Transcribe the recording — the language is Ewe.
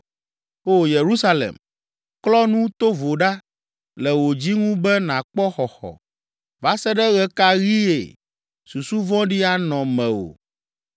O Yerusalem, klɔ nu tovo ɖa le wò dzi ŋu be nàkpɔ xɔxɔ. Va se ɖe ɣe ka ɣie susu vɔ̃ɖi anɔ mewò?